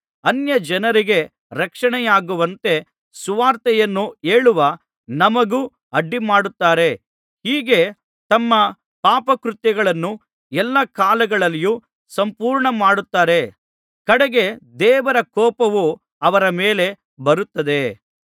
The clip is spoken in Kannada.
ಅನ್ಯಜನರಿಗೆ ರಕ್ಷಣೆಯಾಗುವಂತೆ ಸುವಾರ್ತೆಯನ್ನು ಹೇಳುವ ನಮಗೂ ಅಡ್ಡಿಮಾಡುತ್ತಾರೆ ಹೀಗೆ ತಮ್ಮ ಪಾಪಕೃತ್ಯಗಳನ್ನು ಎಲ್ಲಾ ಕಾಲಗಳಲ್ಲಿಯೂ ಸಂಪೂರ್ಣಮಾಡುತ್ತಾರೆ ಕಡೆಗೆ ದೇವರ ಕೋಪವು ಅವರ ಮೇಲೆ ಬರುತ್ತದೆ